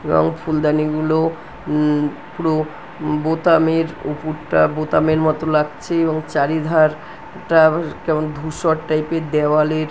এবং ফুলদানি গুলো উম পুরো বোতামের উপুরটা বোতামের মতো লাগছে এবং চারিধার -টা কেমন ধূসর টাইপ -এর দেওয়াল এর--